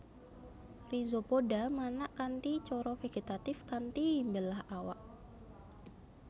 Rhizopoda manak kanthi cara vegetatif kanthi mbelah awak